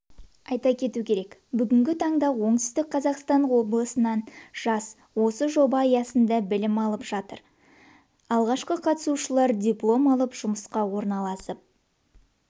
айта кету керек бүгінгі таңда оңтүстік қазақстан облысынан жас осы жоба аясында білім алып жатыр алғашқы қатысушылар диплом алып жұмысқа орналасып